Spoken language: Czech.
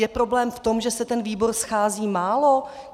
Je problém v tom, že se ten výbor schází málo?